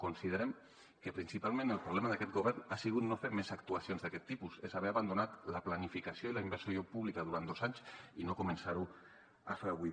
considerem que principalment el problema d’aquest govern ha sigut no fer més actuacions d’aquest tipus és haver abandonat la planificació i la inversió pública durant dos anys i no començar ho a fer avui